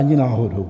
Ani náhodou.